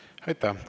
Aitäh!